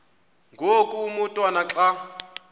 ngoku umotwana xa